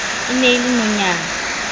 e ne e le nonyana